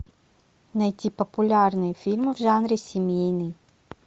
найти популярные фильмы в жанре семейный